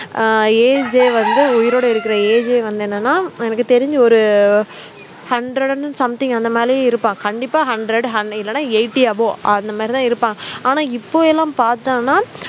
அஹ் age ஏ வந்து உயிரோட இருக்கிற age ஏ வந்து என்னனா எனக்கு தெரிஞ்சி ஒரு hundred and something அந்த மேலேயும் இருப்பாங்க கண்டிப்பா hundred hun இல்லன்னா eighty above அந்த மாதிரி தான் இருப்பாங்க ஆனா இப்போ எல்லாம் பார்த்தோம்னா